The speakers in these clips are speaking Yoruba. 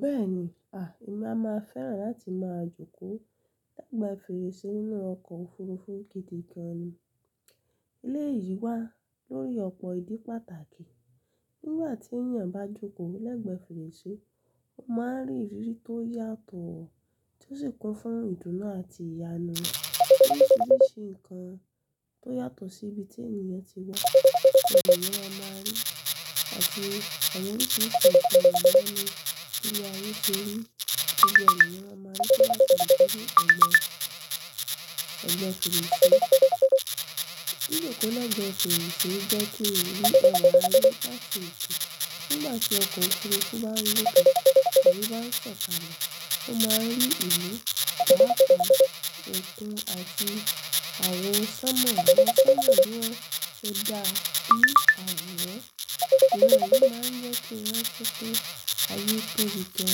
Bẹ́ẹ̀ni, à, èmi a máa fẹ́ràn láti máa jókòó lẹ́gbẹ́ fèrèsé nínú ọkọ̀ òfurufú gidi gan ni. Eléyìí wà lórí ọ̀pọ̀ ìdí pàtàkì. Nígbà tí èeyàn bá jókòó lẹ́gbẹ́ fèrèsé, ó máa n rí ìrírí tó yàtọ̀ tó sì kún fún ìdùnnú àti ìyànú. Oríṣiríṣi nǹkan tó yàtọ̀ sí ibi tí ènìyàn ti wà, ni ènìyàn maa máa rí, àti àwọn oríṣiríṣi àṣà àgbáyé bi aye se rí, gbogbo e eeyan maa maa rí lẹ́gbẹ́ fèrèsé. Jijòkó lẹ́gbẹ́ fèrèsé jẹ́ kí orí ayé rí láti ìṣù. Nígbà tí ọkọ̀ òfurufú bá rí pẹ̀tẹ́ àti bá sọ̀kalẹ̀, ó máa rí ìlú, àga, ètò àti àwọn sánmọ̀ ẹni tí èèyàn tó dà bí àwọn ẹ. Ìmọ̀ yìí máa ń jẹ́ kí wọ́n tó tó ayé tóbi tó,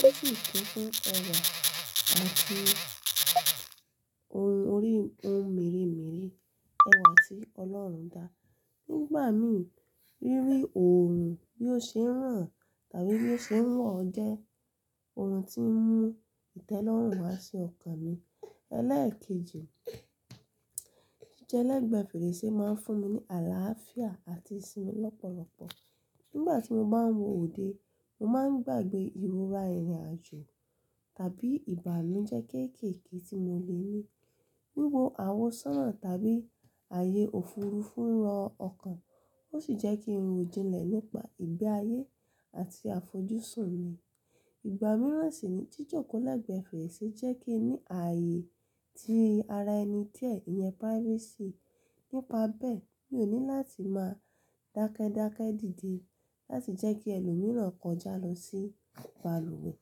tó sì kún fún ọ̀rọ̀ àti ohun orí ohun mere mere ẹwà tí Ọlọ́run dá. Nígbà mi, ríri òòrùn bí ó ṣe ń ràn tàbí bí ó ṣe ń wọ̀ jẹ́ ohun tí ń mú ìtẹ́lọ́rùn wá sí ọkàn mi. Elẹ́ẹ̀kejì, jíjẹ lẹ́gbẹ́ fèrèsé máa ń fún mi ní àlàáfíà àti ìsinmi lọ́pọ̀lọpọ̀. Nígbà tí mo bá ń wòde, mo máa ń gbàgbé ìrọra ìrìnàjò tàbí ìbánu jẹ́ kéékèèké tí mo lè ní. Wiwo àwọ sánà tàbí ààyè òfurufú ń rọ ọkàn, ó sì jẹ́ kí n ro jinlẹ̀ nípa ìgbé ayé àti àfojúsùn mi. Ìgbà mìíràn sì ni jíjòkó lẹ́gbẹ́ fèrèsé jẹ́ kí n ní ààyè tí ara ẹni díẹ̀, ìyẹn privacy. Nípa bẹ́ẹ̀, mi ò ní láti máa dákẹ́dákẹ́ díde láti jẹ́ kí ẹlòmíràn kọjá lọ sí balúwẹ̀ẹ́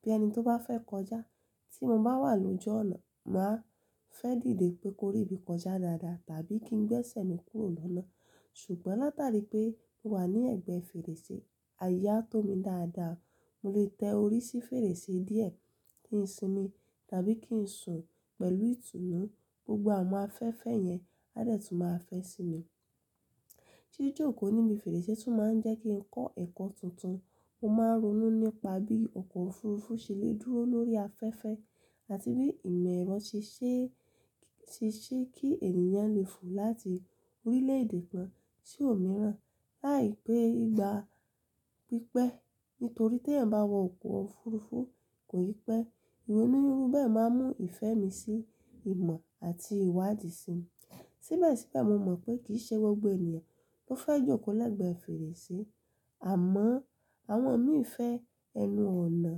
bí ẹni tó bá fẹ́ kọjá. Tí mo bá wà lóju ọ̀nà, mà á fẹ́ dìde pé kó rí bí kọjá dáadáa tàbí kí n gbẹ́sẹ̀ mi kúrò lọ́nà. Ṣùgbọ́n látàrí pé mo wà ní ẹ̀gbẹ́ fèrèsé, àyè á tó mi dáadáa. Mo lè tẹ orí sí fèrèsé díẹ̀ kí n sinmi tàbí kí n sùn pẹ̀lú ìtùnú. Gbogbo àwọn afẹ́fẹ́ yẹn a dẹ̀ tún máa fẹ́ sinmi. Jijòkó níbi fèrèsé tún máa ń jẹ́ kí n kọ́ ẹ̀kọ́ tuntun. Mo máa ń ronú nípa bí ọkọ̀ òfurufú ṣe lè dúró lórí afẹ́fẹ́ àti bí ìmọ̀ ẹ̀rọ ṣe ṣé ṣe ṣé kí ènìyàn lè fò láti orílẹ̀ èdè kan sí òmíràn láìpẹ́ ìgbà pípẹ́. Nítorí tí ẹ̀yan bá wọ ọkọ̀ òfurufú kò yí pẹ́, ìwọ inú rí bẹ́ẹ̀ máa mú ìfẹ́ mi sí ìmọ̀ àti ìwádìí sinmi. Síbẹ̀síbẹ̀, mo mọ̀ pé kì í ṣe gbogbo ènìyàn ló fẹ́ jókòó lẹ́gbẹ́ fèrèsé. Àmọ́ àwọn mi fẹ́ ẹnu ọ̀nà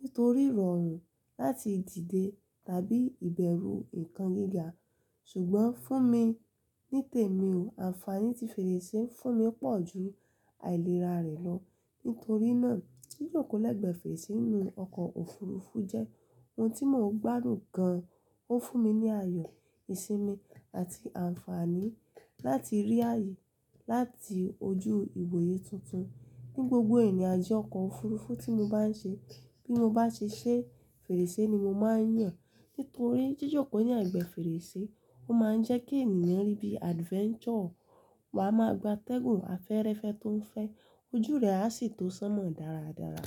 nítorí ìrọ̀rùn láti dìde tàbí ìbẹ̀rù nǹkan gíga. Ṣùgbọ́n fún mi nítẹ̀ mí ò, àǹfààní tí fèrèsé ń fún mi pọ̀ ju àìlera rẹ̀ lọ. Nítorí náà, jijòkó lẹ́gbẹ́ fèrèsé nínú ọkọ̀ òfurufú jẹ́ ohun tí mò ń gbádùn gan. Ó fún mi ní àyọ̀, ìsinmi àti àǹfààní láti rí ààyè láti ojú ìgboyè tuntun. Ni gbogbo ìrìnàjò ọkọ̀ òfurufú tí mo bá ń ṣe, bí mo bá ṣe ṣé fèrèsé ni mo máa ń yàn. Nítorí jijòkó ní ẹ̀gbẹ́ fèrèsé ó máa ń jẹ́ kí ènìyàn rí bí adventure, wọ́n á máa gba tẹ́gùn afẹ́rẹ́fẹ́ tó ń fẹ́, ojú rẹ̀ a sì tó sánmọ̀ dáradára.